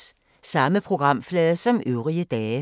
Samme programflade som øvrige dage